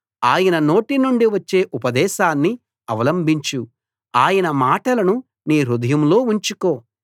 ఆయన నోటి నుండి వచ్చే ఉపదేశాన్ని అవలంబించు ఆయన మాటలను నీ హృదయంలో ఉంచుకో